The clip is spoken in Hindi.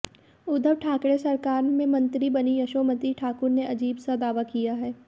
उद्धव ठाकरे सरकार में मंत्री बनी यशोमति ठाकुर ने अजीब सा दावा किया है